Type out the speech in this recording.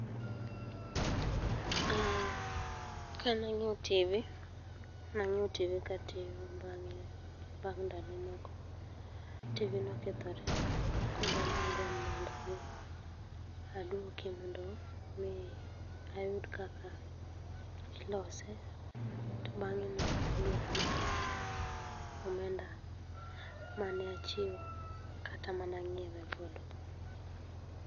Aaah, Kane anyiew TV nang'iew TV katiyo bang'e, bang' ndalo moko TV nokethore koro nagombo mondo adhi aduoke mondo mi ayud kaka ilose to bang'e no nodwuok na pesa, omenda mane achiwo kata mane anyiewe godo